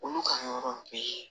Olu ka yɔrɔ bɛɛ ye